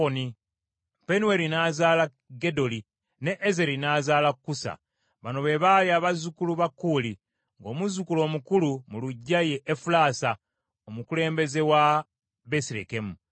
Penueri n’azaala Gedoli, ne Ezeri n’azaala Kusa. Bano be baali abazzukulu ba Kuuli, ng’omuzzukulu omukulu mu luggya ye Efulaasa, omukulembeze wa Besirekemu.